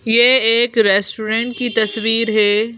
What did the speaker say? ये एक रेस्टोरेंट की तस्वीर है।